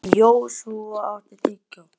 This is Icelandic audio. Joshua, áttu tyggjó?